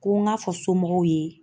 Ko n ka fɔ somɔgɔw ye.